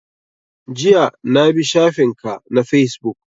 Jiya na bi shafin ka na Fesbook